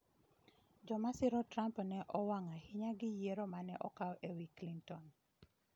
Joma siro Trump ne owang' ahinya gi yiero mane okaw ewi Clinton